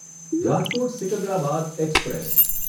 Rajkot Secunderabad express